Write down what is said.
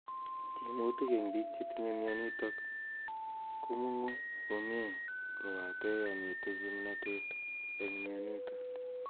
Tyemutik eng' biik chetinye mionitok komung'u komie kobate yomite kimnatet eng' mionitok